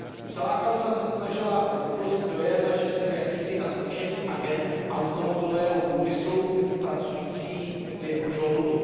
Celá kauza se snažila vytvořit dojem, že jsem jakýsi nastrčený agent automobilového průmyslu pracující v jeho žoldu.